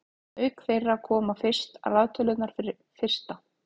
auk þeirra koma fyrir raðtölurnar fyrsta